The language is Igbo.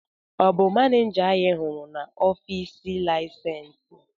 Ọ̀ bụ maneja anyị hụrụ n'ọfịs laịsensị?